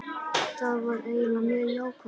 Það var einnig mjög jákvætt